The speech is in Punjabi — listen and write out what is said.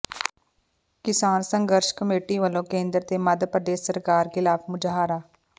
ਕਿਸਾਨ ਸੰਘਰਸ਼ ਕਮੇਟੀ ਵੱਲੋਂ ਕੇਂਦਰ ਤੇ ਮੱਧ ਪ੍ਰਦੇਸ਼ ਸਰਕਾਰ ਖ਼ਿਲਾਫ਼ ਮੁਜ਼ਾਹਰਾ